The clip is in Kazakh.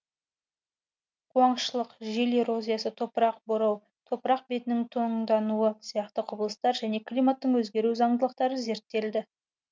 қуаңшылық жел эрозиясы топырақ борау топырақ бетінің тоңдануы сияқты құбылыстар және климаттың өзгеру заңдылықтары зерттелді